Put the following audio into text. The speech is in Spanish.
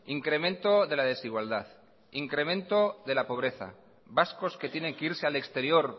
incremento de la desigualdad incremento de la pobreza vascos que tienen que irse al exterior